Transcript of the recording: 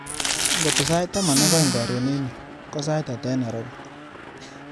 Ngoto sait taman ak aeng karon eng yu, ko sait ata eng Nairobi?